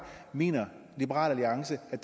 mener liberal alliance at